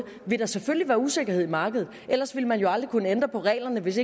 vil der selvfølgelig være usikkerhed i markedet ellers ville man jo aldrig kunne ændre på reglerne hvis